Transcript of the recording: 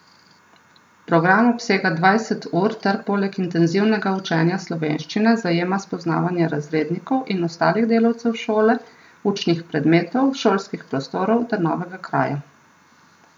Program obsega dvajset ur ter poleg intenzivnega učenja slovenščine zajema spoznavanje razrednikov in ostalih delavcev šole, učnih predmetov, šolskih prostorov ter novega kraja.